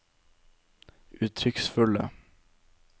uttrykksfulle